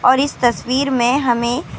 اور اس تصویر میں ہمیں.